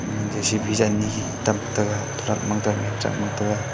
ima J_C_B ja ani tam tega turak mang tang me truck mang taga.